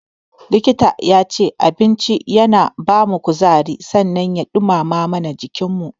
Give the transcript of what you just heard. Likitan yace, abinci yana bamu kuzari sannan ya ɗumama jikinmu.